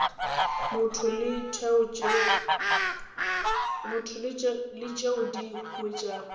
motho le tšeo di huetšago